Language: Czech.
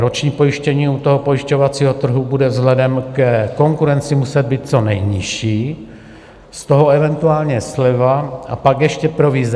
Roční pojištění u toho pojišťovacího trhu bude vzhledem ke konkurenci muset být co nejnižší, z toho eventuálně sleva a pak ještě provize.